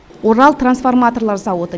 орал трансформаторлар зауыты